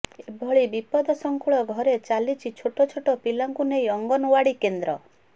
ଏଭଳି ବିପଦସଙ୍କୁଳ ଘରେ ଚାଲିଛି ଛୋଟଛୋଟ ପିଲାଙ୍କୁ ନେଇ ଅଙ୍ଗନୱାଡି କେନ୍ଦ୍ର